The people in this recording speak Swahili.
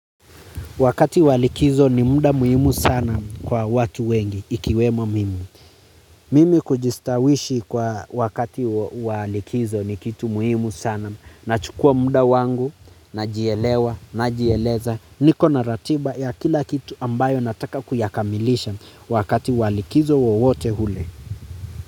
Wakati wa likizo ni muda muhimu sana kwa watu wengi, ikiwemo mimi. Mimi kujistawishi kwa wakati walikizo ni kitu muhimu sana. Nachukua muda wangu, najielewa, najieleza, niko na ratiba ya kila kitu ambayo nataka kuyakamilisha wakati wa likizo wowote ule.